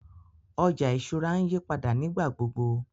Ọjà ìṣúra ǹ yìpàdà nígbàgbogbo.